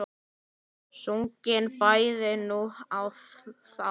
Sungin bæði nú og þá.